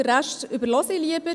Den Rest überhöre ich lieber.